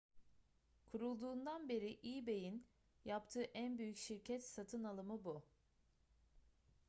kurulduğundan beri ebay'in yaptığı en büyük şirket satın alımı bu